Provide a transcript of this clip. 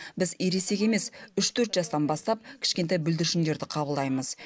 біз ересек емес үш төрт жастан бастап кішкентай бүлдіршіндерді қабылдаймыз